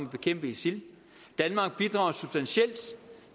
at bekæmpe isil danmark bidrager substantielt